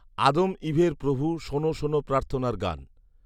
আদম ঈভের প্রভু শোন শোন প্রার্থনার গান